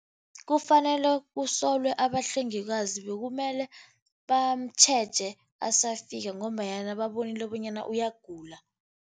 Kufanele kusolwe abahlengikazi. Bekumele bamutjheje asafika ngombanyana babonile bonyana uyagula.